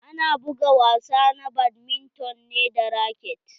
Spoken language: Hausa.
Ana buga wasa na badminton ne da raket.